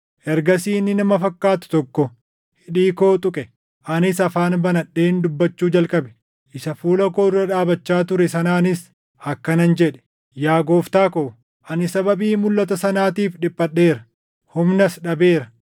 Ergasii inni nama fakkaatu tokko hidhii koo tuqe; anis afaan banadheen dubbachuu jalqabe. Isa fuula koo dura dhaabachaa ture sanaanis akkanan jedhe; “Yaa gooftaa ko, ani sababii mulʼata sanaatiif dhiphadheera; humnas dhabeera.